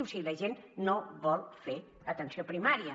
o sigui la gent no vol fer atenció primària